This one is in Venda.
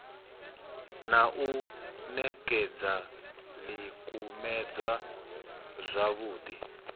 na u ṋekekza ḽikumedzwa zwavhuḓi